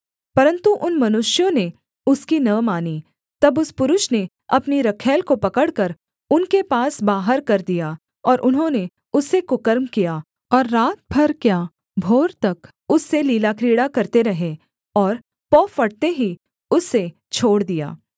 परन्तु उन मनुष्यों ने उसकी न मानी तब उस पुरुष ने अपनी रखैल को पकड़कर उनके पास बाहर कर दिया और उन्होंने उससे कुकर्म किया और रात भर क्या भोर तक उससे लीलाक्रीड़ा करते रहे और पौ फटते ही उसे छोड़ दिया